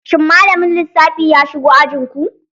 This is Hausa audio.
Shin malamin lissafi ya shigo ajin ku?